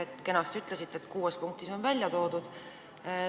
Te kenasti ütlesite, et kuues punktis on kõik välja toodud.